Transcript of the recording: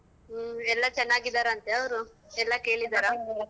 ಹೂಂ ಎಲ್ಲ ಚನ್ನಾಗಿದ್ದರ ಅಂತೆ ಅವ್ರು? ಎಲ್ಲ